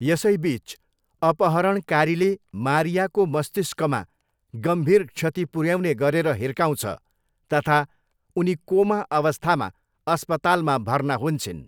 यसैबिच अपहरणकारीले मारियाको मस्तिष्कमा गम्भीर क्षति पुऱ्याउने गरेर हिर्काउँछ तथा उनी कोमा अवस्थामा अस्पतालमा भर्ना हुन्छिन्।